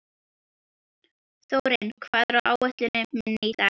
Þórinn, hvað er á áætluninni minni í dag?